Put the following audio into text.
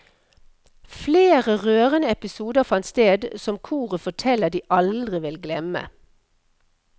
Flere rørende episoder fant sted som koret forteller de aldri vil glemme.